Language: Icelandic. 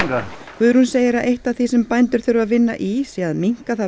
Guðrún segir að eitt af því sem bændur þurfi að vinna í sé að minnka það